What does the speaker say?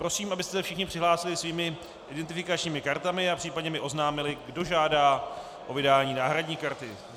Prosím, abyste se všichni přihlásili svými identifikačními kartami a případně mi oznámili, kdo žádá o vydání náhradní karty.